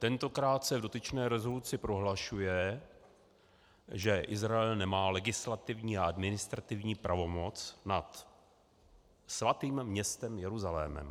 Tentokrát se v dotyčné rezoluci prohlašuje, že Izrael nemá legislativní a administrativní pravomoc nad svatým městem Jeruzalémem.